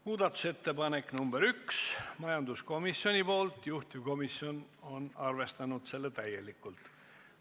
Muudatusettepaneku nr 1 on esitanud majanduskomisjon ja juhtivkomisjon on arvestanud seda täielikult.